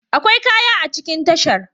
Akwai kaya a cikin tashar.